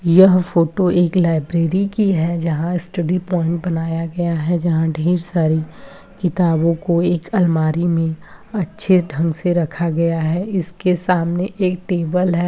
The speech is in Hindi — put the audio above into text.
यह फोटो एक लाइब्रेरी की है जहाँ स्टडी पॉइंट बनाया गया है जहाँ ढेर सारी किताबों को एक अलमारी में अच्छे ढंग से रखा गया है इसके सामने एक टेबल है।